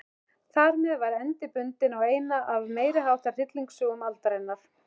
Þarmeð var endi bundinn á eina af meiriháttar hryllingssögum aldarinnar.